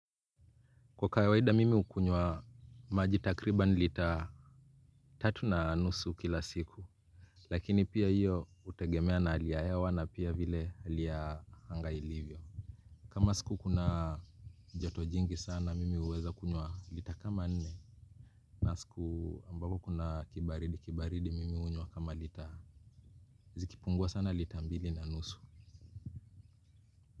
Kwa kawaida mimi hukunywa maji takriban lita tatu na nusu kila siku. Lakini pia hiyo hutegemea na hali ya hewa na pia vile hali ya anga ilivyo. Kama siku kuna joto jingi sana mimi huweza kunywa lita kama nne. Na siku ambako kuna kibaridi kibaridi mimi hunywa kama lita ziki pungua sana lita ambili na nusu.